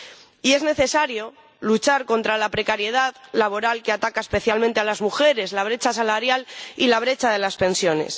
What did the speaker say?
Y es necesario luchar contra la precariedad laboral, que ataca especialmente a las mujeres, la brecha salarial y la brecha de las pensiones.